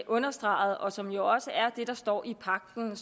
understregede og som jo også er det der står i pagten